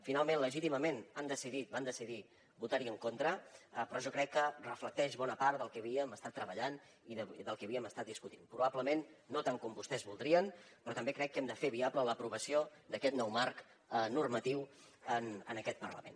finalment legítimament van decidir votar hi en contra però jo crec que reflecteix bona part del que havíem estat treballant i del que havíem estat discutint probablement no tant com vostès voldrien però també crec que hem de fer viable l’aprovació d’aquest nou marc normatiu en aquest parlament